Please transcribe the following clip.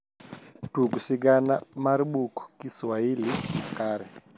tug sigana mar buk kiswaili makare